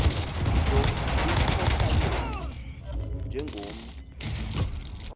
nto ikhohlakele njengomntu